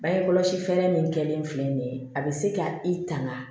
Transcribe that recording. Bange kɔlɔsi fɛɛrɛ min kɛlen filɛ nin ye a bɛ se ka i tanga